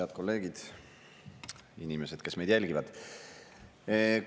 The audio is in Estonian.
Head kolleegid, inimesed, kes meid jälgivad!